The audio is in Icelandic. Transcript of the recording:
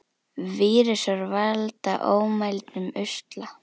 Vírusar valda ómældum usla.